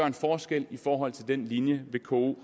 en forskel i forhold til den linje vko